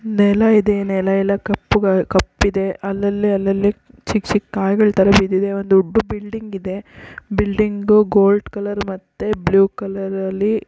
ನೆಲ ಇದೆ ನೆಲ ಎಲ್ಲಾ ಕಪ್ಪಗ ಕಪ್ಪಯಿದೇ ಅಲ್ಲಲೆ ಅಲ್ಲಲೆ ಚಿಕ್ ಚಿಕ್ ಕಾಯಿಗಳ ತರ ಬಿದಿದೆ ಒಂದ್ ದೊಡ್ಡ ಬಿಲ್ಡಿಂಗ್ ಇದೆ ಬಿಲ್ಡಿಂಗ್ ಗೋಲ್ಡ್ ಕಲರ್ ಬ್ಲೂ ಕಲರಲೀ --